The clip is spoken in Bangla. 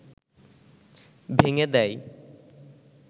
ভেঙ্গে দেয়